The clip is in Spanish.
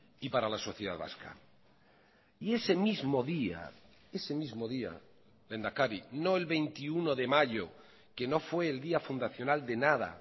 y para la sociedad vasca y ese mismo día ese mismo día lehendakari no el veintiuno de mayo que no fue el día fundacional de nada